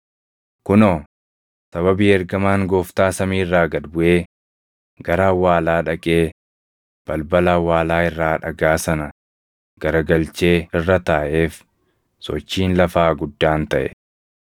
Kunoo, sababii ergamaan Gooftaa samii irraa gad buʼee gara awwaalaa dhaqee balbala awwaalaa irraa dhagaa sana garagalchee irra taaʼeef, sochiin lafaa guddaan taʼe.